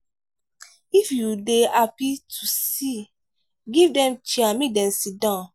If you dey happy to see give dem chair mek dem sidon